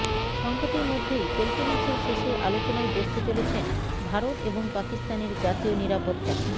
সংঘাতের মধ্যেই চলতি মাসের শেষে আলোচনায় বসতে চলেছেন ভারত এবং পাকিস্তানের জাতীয় নিরাপত্তা